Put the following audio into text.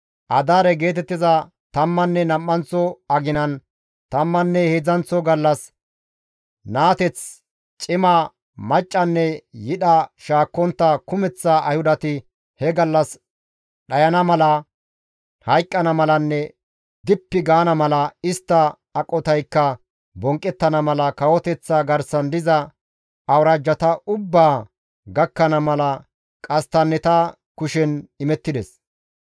Adaare geetettiza tammanne nam7anththo aginan, tammanne heedzdzanththo gallas naateth, cima, maccanne yidha shaakkontta kumeththa Ayhudati he gallas dhayana mala, hayqqana malanne dippi gaana mala, istta aqotaykka bonqqettana mala, kawoteththa garsan diza awuraajjata ubbaa gakkana mala qasttanneta kushen imettides.